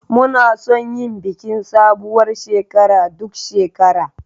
Muna son yin bikin sabuwar shekara duk shekara.